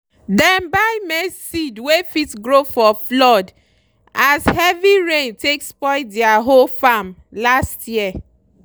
dem buy maize seed wey fit grow for floodas heavy rain take spoil their whole farm last year.